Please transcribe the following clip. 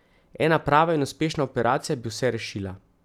Ena prava in uspešna operacija bi vse rešila.